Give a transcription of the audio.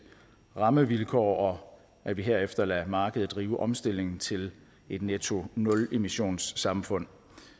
rammevilkår og at vi herefter lader markedet drive omstillingen til et netto nulemissionssamfund